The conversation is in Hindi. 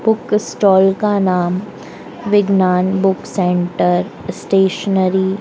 बुक स्टॉल का नाम विज्ञान बुक सेंटर स्टेशनरी --